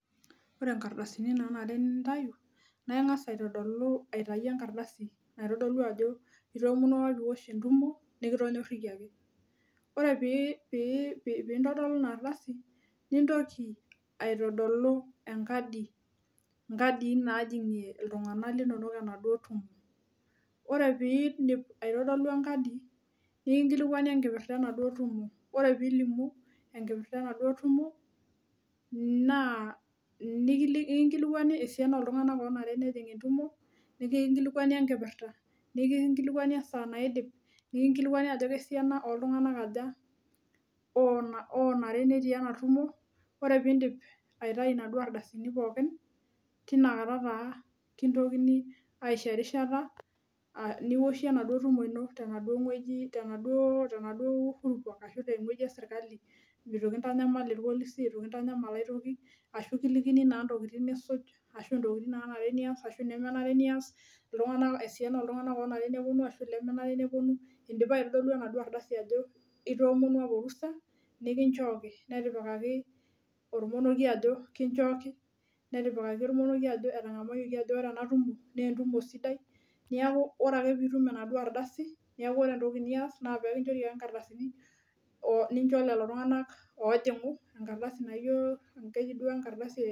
Ore nkardasini nanare nintau naa ingas aitodolu aitayu enkardasi naitodolu ajo itoomonuo apa piosh entumo nikitonyorikiaki . Ore pi pi pi pintodolu inardasi nintoki aitodolu enkadi , inkadii najingie iltunganak linonok enaduo tumo .Ore piindip aitodolu enkadi , nikinkilikwani enkipirta enaduo tumo , ore pilimu enkipirta enaduo tumo naa nikinkilikwani esiana oltunganak onare nejing entumo, nikinkwani enkipirta, nikinkilikwani esaa naidip , nikilikwani ajo kesiana oltunganak aja onare netii enatumo . Ore pindip aitayu inaduo ardasini pookin tinakata taa kintokini aisho erishata nioshie enaduo tumo ino tenaduo wueji tenaduo, tenaduo ,tenaduo uhuru park ashu tewueji esirkali itu kintanyamal irpolisi , itu kintanyamal aitoki ashu kilikini naa ntokitin nisuj ashu ntokitin nanare nias ashu inemenare nias iltunganak esiana oltunganak neponu ashu ilemenare neponu, indipa aitodolu enaduo ardasi ajo itoomonuo apa orusa , nikinchooki netipikaki ormonekie ajo kichooki , netipikaki ormonekie ajo etangamayioki ajo ore ena tumo naa entumo sidai niaku ore ake pitum enaduo ardasi niaku ore entoki nias naa pekinchori ake nkardasini onincho lelo tunganak ojingu , enkardasi naijo, keji duo enkadasi e ee.....